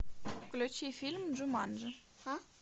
включи фильм джуманджи